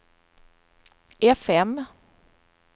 fm